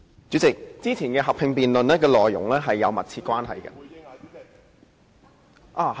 主席，以往進行合併議論的議題是有密切關係的。